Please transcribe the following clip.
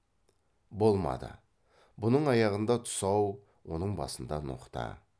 болмады бұның аяғында тұсау оның басында ноқта